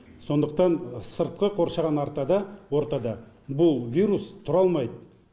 сондықтан сыртқы қоршаған ортада бұл вирус тұра алмайды